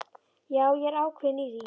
Já, ég er ákveðinn í því.